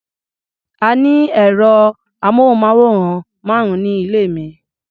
A ní ẹ̀rọ-amóhùnmáwòrán márùn-ún ní ilé mi.